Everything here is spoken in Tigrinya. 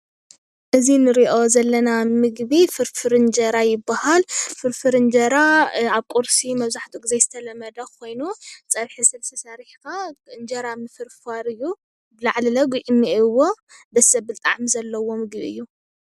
እዚ ንሪኦ ዘለና ምግቢ ፍርፍር አንጀራ ይባሃል፡፡ ፍርፍር እንጀራ ኣብ ቁርሲ መብዛሕትኡ ጊዜ ዝተለመደ ኾይኑ ፀብሒ ስልሲ ሰሪሕኻ እንጀራ ምፍርፋር እዩ፡፡ ላዕሉ ለ ጉዕለ እኔኤዎ ደስ ዘብል ጣዕሚ እዩ፡፡